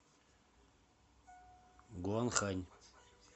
гуанхань